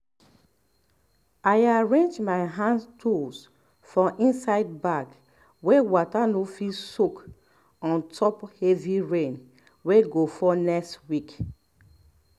i arrange my hand-tools for inside bag wey water no fit soak ontop heavy rain wey go fall next week